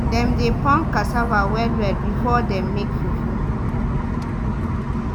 dem dey pound cassava well well before dem make fufu.